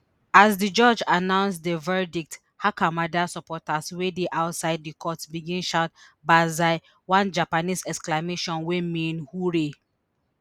as di judge announce di verdict hakamada supporters wey dey outside di court begin shout banzai one japanese exclamation wey mean hurray